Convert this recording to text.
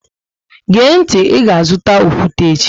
Gee ntị, Ị ga azụta okwute echi!